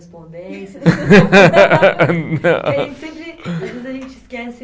Não. Às vezes a gente esquece